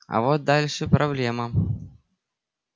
а вот дальше проблема